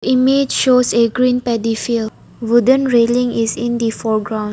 Image shows a green paddy field wooden railing is in the foreground.